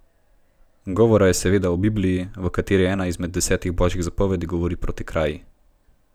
Govora je seveda o Bibliji, v kateri ena izmed desetih božjih zapovedi govori proti kraji.